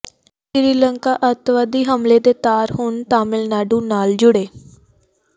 ਸ੍ਰੀਲੰਕਾ ਅੱਤਵਾਦੀ ਹਮਲੇ ਦੇ ਤਾਰ ਹੁਣ ਤਾਮਿਲਨਾਡੂ ਨਾਲ ਜੁੜੇ